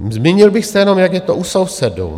Zmínil bych se jenom, jak je to u sousedů.